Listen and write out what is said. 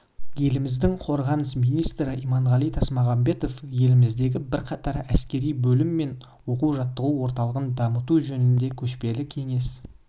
еліміздің қорғаныс министрі иманғали тасмағамбетов еліміздегі бірқатар әскери бөлім мен оқу-жаттығу орталығын дамыту жөнінде көшпелі кеңес